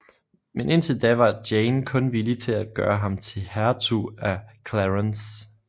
Men indtil da var Jane kun villig til at gøre ham til hertug af Clarence